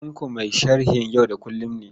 Tanko mai sharhin yau da kullum ne.